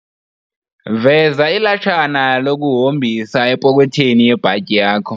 Veza ilatshana lokuhombisa epokwethweni yebhatyi yakho.